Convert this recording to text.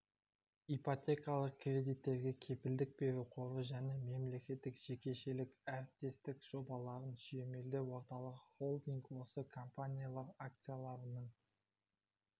ипотекалық кредиттерге кепілдік беру қоры және мемлекеттік-жекешелік әріптестік жобаларын сүйемелдеу орталығы холдинг осы компаниялар акцияларының